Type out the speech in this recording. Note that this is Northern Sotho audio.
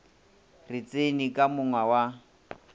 re tseni ka monga wa